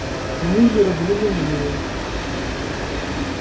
мюллер взглянул на него